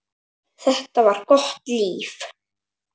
Þetta var gott líf.